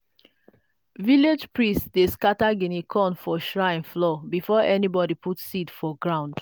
village priest dey scatter guinea corn for shrine floor before anybody put seed for ground.